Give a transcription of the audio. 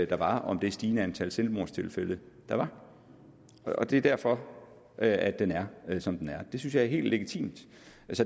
der var om det stigende antal selvmordstilfælde der var det er derfor at den er som den er det synes jeg er helt legitimt